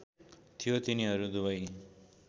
थियो तिनीहरू दुबई